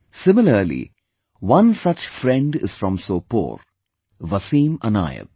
Similarly, one such friend is from Sopore... Wasim Anayat